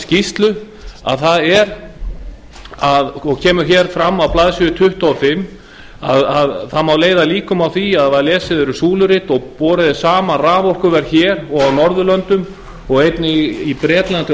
skýrslu það kemur fram á blaðsíðu tuttugu og fimm að það má leiða líkum að því að ef lesið er súlurit og borið saman raforkuverð hér og á norðurlöndum og einnig í bretlandi og